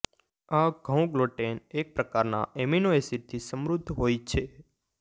આ ઘઉં ગ્લુટેન એક પ્રકારના એમિનો એસિડથી સમૃદ્ધ હોય છે